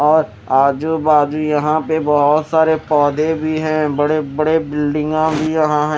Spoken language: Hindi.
और आजू बाजू यहां पे बहोत सारे पौधे भी हैं बड़े बड़े बिल्डिंगा भी यहां है।